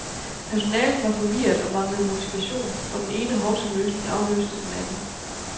Personalet var forvirret og manglede motivation, og den ene hovsaløsning afløste den anden.